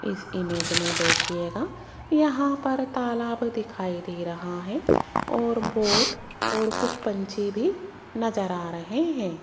इस इमेज में देखिएगा यहां पर तालाब दिखाई दे रहा है और बोट और कुछ पंछी भी नजर आ रहे हैं।